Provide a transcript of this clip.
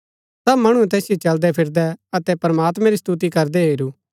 सब मणुऐ तैसिओ चलदै फिरदै अतै प्रमात्मैं री स्तुति करदै हेरू अतै